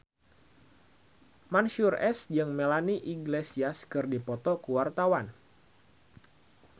Mansyur S jeung Melanie Iglesias keur dipoto ku wartawan